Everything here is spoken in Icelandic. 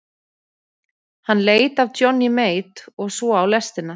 Hann leit af Johnny Mate og svo á lestina.